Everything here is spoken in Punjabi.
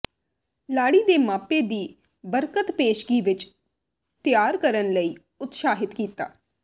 ਲਾੜੀ ਦੇ ਮਾਪੇ ਦੀ ਬਰਕਤ ਪੇਸ਼ਗੀ ਵਿੱਚ ਤਿਆਰ ਕਰਨ ਲਈ ਉਤਸ਼ਾਹਿਤ ਕੀਤਾ